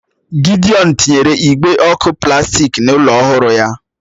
Gidiọn tinyere igbe ọ̀kụ plastik n'ụlọ ọhụrụ ya